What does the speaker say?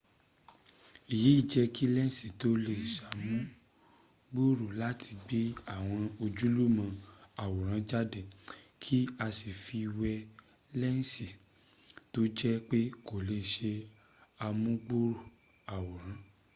èyí jẹ́ kí lẹ́nsì tó lè ṣàmùgbòrò láti gbé àwọn ojúlówó àwòrán jáde k;i a fi wé lẹ́nsì tó jé pé kò lè ṣe àmúgbòrò àwòrán